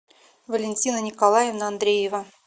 валентина николаевна андреева